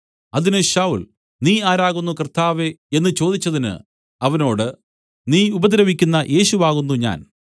അതിന് ശൌല്‍ നീ ആരാകുന്നു കർത്താവേ എന്ന് ചോദിച്ചതിന് അവനോട് നീ ഉപദ്രവിക്കുന്ന യേശു ആകുന്നു ഞാൻ